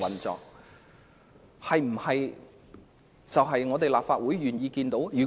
這是立法會願意看到的嗎？